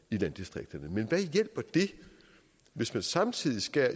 i landdistrikterne men hvad hjælper det hvis man samtidig skærer